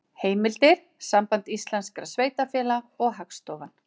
Heimildir: Samband íslenskra sveitarfélaga og Hagstofan.